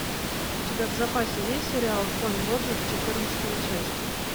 у тебя в запасе есть сериал конь боджек четырнадцатая часть